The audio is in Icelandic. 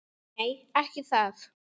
Nei, ekki það!